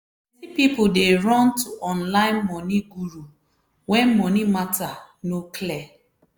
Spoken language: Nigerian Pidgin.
plenty people dey run to online money guru when money matter no clear.